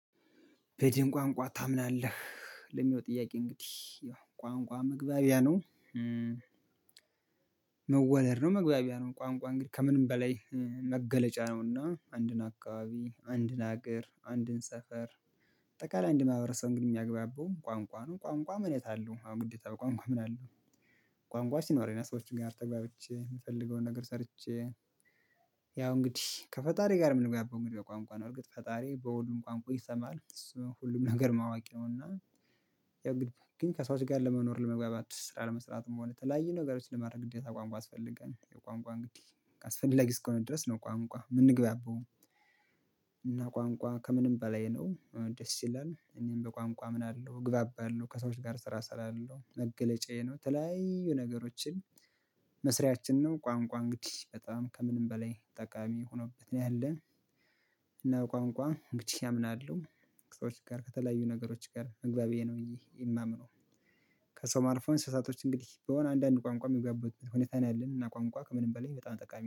በድን ቋንቋ ታምናለህ ለሚሆን ጥያቄ? እንግዲህ ያው ቋንቋ መግባቢያ ነው። መወለድ ነው መግባቢያ ነው ቋንቋ እንግዲህ ከምንም በላይ መገለጫ ነውና አንድን አካባቢ አንድን ሀገር አንድን ሰፈር። አጠቃላይ አንድን ማህበረሰብ ግን የሚያግባባው ቋንቋ ነው ቋንቋ ምን የታለው አሁን ግዴታ ቋንቋ ምን አለው? ቋንቋ ሲኖረኝ ነወ ከሰዎችን ጋር ተግባብቼ የምፈልገውን ነገር ሰርቼ። ያው እንግዲህ ከፈጣሪ ጋር ምንግባባው እንግዲህ በቋንቋ ነው እርግጥ ፈጣሪ በሁሉም ቋንቋ ይሰማል እሱ ሁሉም ነገርም አዋቂ ነውና። ያው ግን ከሰዎች ጋር ለመኖር ለመግባባት ስራ ለመስራትም ሆነ ተለያዩ ነገሮችን ለማድረግ ግዴታ ቋንቋ ያስፈልጋል። የቋንቋ እንግዲህ አስፈላጊ እስከሆነ ድረስ ነው ቋንቋ ምንግባባው። እና ቋንቋ ከምንም በላይ ነው ደስ ይላል እኔም በቋንቋ አምናለሁ እግባባለሁ ከሰዎች ጋር ስራ እሰራለሁ መገለጫዬ ነው። ተለያዩ ነገሮችን መስሪያችን ነው ቋንቋ እንግዲህ በጣም ከምንም በላይ ጠቃሚ ሆኖብኛል። እና ቋንቋ እንግዲህ አምናለሁ ከሰዎች ጋር ከተለያዩ ነገሮች ጋር መግባቢያዬ ነው ብዬ የማምነው። ከሰውም አልፎ እንስሳቶች እንግዲህ በሆን አንዳንድ ቋንቋ የሚገባቡበት ሁኔታ ነው ያለን እና ቋንቋ ከምንም በላይ በጣም ጠቃሚ